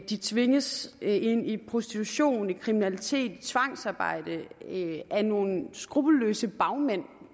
de tvinges ind i prostitution i kriminalitet i tvangsarbejde af nogle skruppelløse bagmænd